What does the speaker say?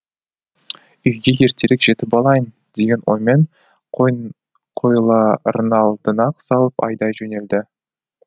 үйге ертерек жетіп алайын деген оймен қойларын алдына салып айдай жөнелді